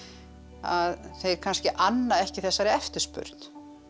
að þeir kannski anna ekki þessari eftirspurn